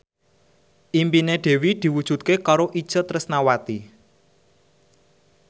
impine Dewi diwujudke karo Itje Tresnawati